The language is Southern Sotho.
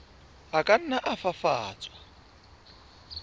a ka nna a fafatswa